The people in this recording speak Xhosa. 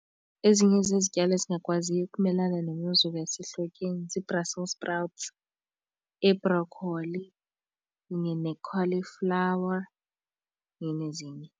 Ezinye zezityalo ezingakwaziyo ukumelana nemozulu yasehlotyeni zii-brussel sprouts, iibrokholi kunye ne-cauliflower nezinye.